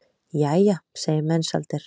Jæja, segir Mensalder.